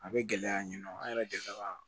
A bɛ gɛlɛya ɲinɔ an yɛrɛ delila ka